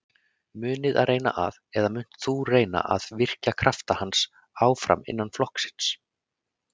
Munuð þið reyna að, eða munt þú reyna að virkja krafta hans áfram innan flokksins?